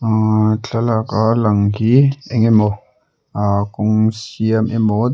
ah thlalak a lang hi engemaw ah kawng siam emaw--